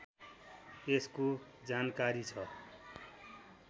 यसको जानकारी छ